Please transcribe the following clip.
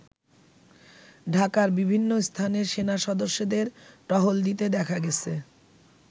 ঢাকার বিভিন্ন স্থানে সেনা সদস্যদের টহল দিতে দেখা গেছে।